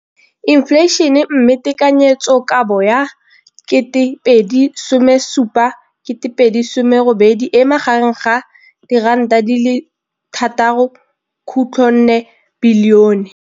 infleišene, mme tekanyetsokabo ya 2017 2018 e magareng ga R6.4 bilione.